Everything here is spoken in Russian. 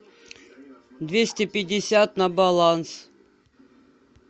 двести пятьдесят на баланс